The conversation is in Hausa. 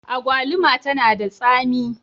Agwaluma tana da tsami.